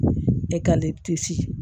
E ka le